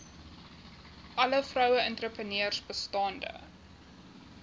alle vroueentrepreneurs bestaande